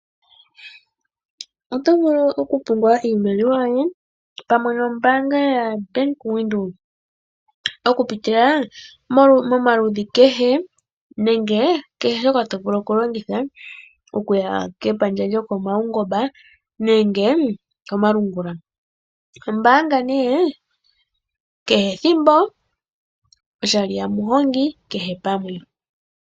Oto vulu okupungula iimaliwa yoye pamwe nombaanga ya Bank Windhoek, okupitila momaludhi kehe nenge kehe shoka to vulu okulongitha okuya kepandja lopomaungomba nenge komalungula. Oho mbaanga nee kehe ethimbo oshali ya muhongi kehe pamwe.